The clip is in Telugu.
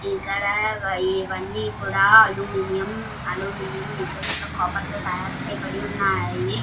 ఇక్కడ ఇవన్నీ కూడా అల్యూమినియం అల్యూమినియం ఇంకా కాపర్ తో తయార్ చేయబడి ఉన్నాయి.